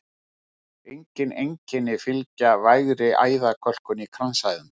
Engin einkenni fylgja vægri æðakölkun í kransæðum.